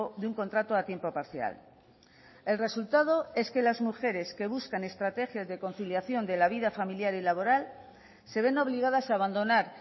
de un contrato a tiempo parcial el resultado es que las mujeres que buscan estrategias de conciliación de la vida familiar y laboral se ven obligadas a abandonar